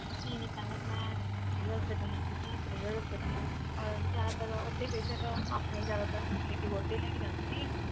ਨਹੀਂ ਨਹੀਂ ਪਹਿਲਾਂ ਤਾਂ ਮੈਂ ਜਿਹੜੇ hospital ਲੱਗੀ ਸੀ private hospital ਉਹ ਜ਼ਿਆਦਾਤਰ ਉੱਥੇ patient ਆਪਣੇ ਜ਼ਿਆਦਾਤਰ relative ਉੱਥੋਂ ਹੀ ਲੈ ਕੇ ਜਾਂਦੇ ਸੀ